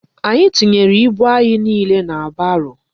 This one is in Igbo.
Anyị tinyere ibu anyị niile na baro.